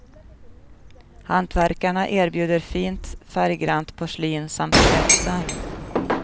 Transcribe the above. Hantverkarna erbjuder fint färggrannt porslin samt spetsar.